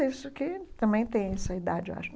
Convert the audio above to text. Esse aqui também tem essa idade, eu acho.